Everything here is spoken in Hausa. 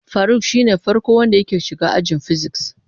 Faruk shine farko wanda yake shiga ajin "physics".